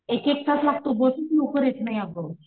एक एक तास लागतो बसच लवकर येत नाही अगं